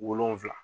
Wolonfila